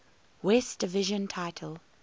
west division title